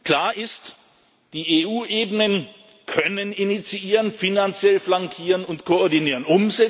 Klar ist Die EU Ebenen können initiieren, finanziell flankieren und koordinieren.